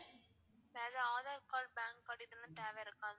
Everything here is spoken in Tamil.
வேற ஆதார் card pan card இதுலா தேவ இருக்கா?